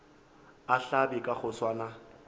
a hlabe ka go swana